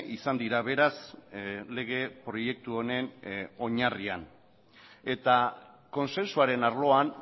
izan dira beraz lege proiektu honen oinarrian eta kontsensuaren arloan